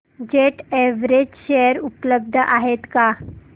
jet Airways share उपलब्ध आहेत का